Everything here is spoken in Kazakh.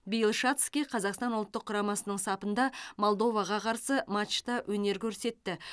биыл шацкий қазақстан ұлттық құрамасының сапында молдоваға қарсы матчта өнер көрсетті